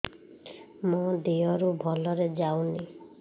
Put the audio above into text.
ମୋ ଦିହରୁ ଭଲରେ ଯାଉନି